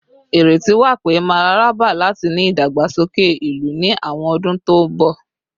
Ireti wa pe mararaba lati ni idagbasoke ilu ni awọn ọdun to nbọ